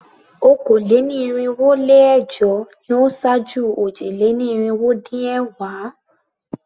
Okòó-lé-ní-irinwó-lé-ẹ̀jọ ni ó ṣáájú òjì-lé-ní-irinwó-dín-ẹ̀wá.